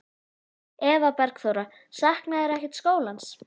Eva Bergþóra: Saknarðu ekkert skólans?